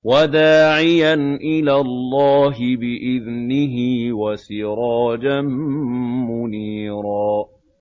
وَدَاعِيًا إِلَى اللَّهِ بِإِذْنِهِ وَسِرَاجًا مُّنِيرًا